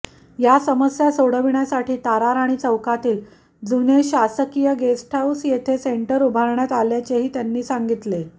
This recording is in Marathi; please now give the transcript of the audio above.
या समस्या सोडविण्यासाठी ताराराणी चौकातील जुने शासकीय गेस्ट हाऊस येथे सेंटर उभारण्यात आल्याचेही त्यांनी सांगितले